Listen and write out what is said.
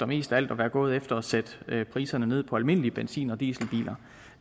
mest af alt var gået efter at sætte priserne ned på almindelige benzin og dieselbiler